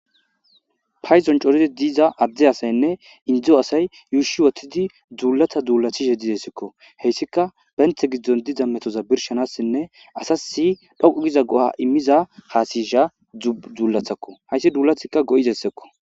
payzon coredi diza adde asaynne indzo asay yuushi wottidi dzuulata duulathi she didesikko heyssika benthe giddon diza metoza birshanassinne asa si dhoqu giza go7a immiza haasisha dzuullathakko heyssi duulathikka go7izessekko